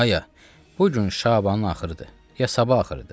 Aya, bu gün Şabanın axırıdır, ya sabah axırıdır.